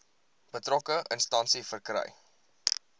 betrokke instansie verkry